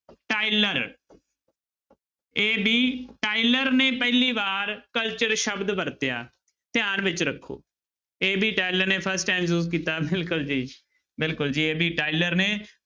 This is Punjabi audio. ਟਾਇਲਰ AB ਟਾਇਲਰ ਨੇ ਪਹਿਲੀ ਵਾਰ culture ਸ਼ਬਦ ਵਰਤਿਆ ਧਿਆਨ ਵਿੱਚ ਰੱਖੋ AB ਟਾਇਲਰ ਨੇ first time use ਕੀਤਾ ਬਿਲਕੁਲ ਜੀ ਬਿਲਕੁਲ ਜੀ AB ਟਾਇਲਰ ਨੇ